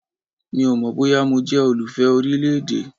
Mi ò mọ̀ bóyá mo jẹ́ olùfẹ orílẹ̀-èdè.